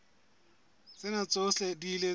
tsena tsohle di ile tsa